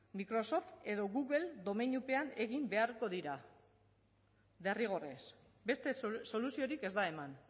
microsoft edo google domeinupean egin beharko dira derrigorrez beste soluziorik ez da eman